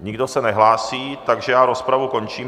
Nikdo se nehlásí, takže já rozpravu končím.